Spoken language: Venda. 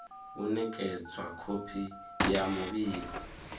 u nekedzwa khophi ya muvhigo